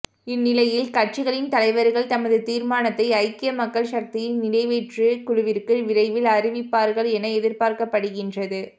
இந்நிலையில் கட்சிகளின் தலைவர்கள் தமது தீர்மானத்தை ஐக்கிய மக்கள் சக்தியின் நிறைவேற்று குழுவிற்கு விரைவில் அறிவிப்பார்கள் என எதிர்பார்க்கப்படுகின்றது